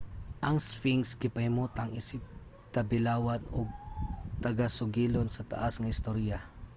ang sphinx gipahimutang isip tabilawan ug tagasugilon sa taas nga istorya